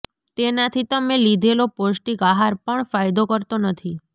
તેનાથી તમે લીધેલો પોષ્ટિક આહાર પણ ફાયદો કરતો નથી